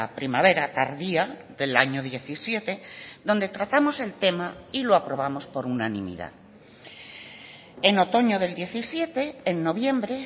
primavera tardía del año diecisiete donde tratamos el tema y lo aprobamos por unanimidad en otoño del diecisiete en noviembre